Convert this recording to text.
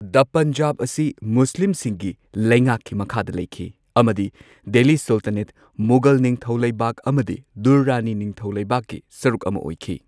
ꯗꯥ ꯄꯟꯖꯥꯕ ꯑꯁꯤ ꯃꯨꯁꯂꯤꯝꯁꯤꯡꯒꯤ ꯂꯩꯉꯥꯛꯀꯤ ꯃꯈꯥꯗ ꯂꯩꯈꯤ ꯑꯃꯗꯤ ꯗꯦꯜꯂꯤ ꯁꯨꯜꯇꯥꯅꯦꯠ, ꯃꯨꯘꯜ ꯅꯤꯡꯊꯧꯂꯩꯕꯥꯛ ꯑꯃꯗꯤ ꯗꯨꯔꯔꯥꯅꯤ ꯅꯤꯡꯊꯧꯂꯩꯕꯥꯛꯀꯤ ꯁꯔꯨꯛ ꯑꯃꯥ ꯑꯣꯏꯈꯤ꯫